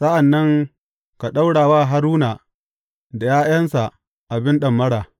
Sa’an nan ka ɗaura wa Haruna da ’ya’yansa abin ɗamara.